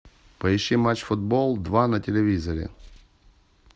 поищи матч футбол два на телевизоре